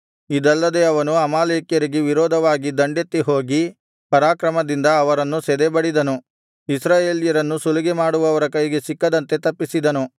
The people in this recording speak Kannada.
ಇದಲ್ಲದೆ ಅವನು ಅಮಾಲೇಕ್ಯರಿಗೆ ವಿರೋಧವಾಗಿ ದಂಡೆತ್ತಿ ಹೋಗಿ ಪರಾಕ್ರಮದಿಂದ ಅವರನ್ನು ಸದೆಬಡಿದನು ಇಸ್ರಾಯೇಲ್ಯರನ್ನು ಸುಲಿಗೆಮಾಡುವವರ ಕೈಗೆ ಸಿಕ್ಕದಂತೆ ತಪ್ಪಿಸಿದನು